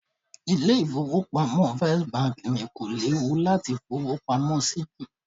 Ilé ìfowópamọ́ First ni kò léwu láti fowó pamọ́ sí jù